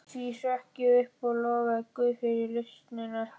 Í því hrökk ég upp og lofaði guð fyrir lausnina.